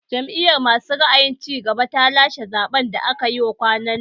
Jam'iyar masu ra'ayin cigaba ta lashe zaɓen da aka yi kwanan nan